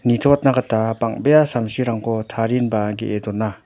nitoatna gita bang·bea samsirangko tarienba ge·e dona.